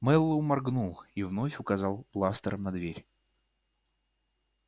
мэллоу моргнул и вновь указал бластером на дверь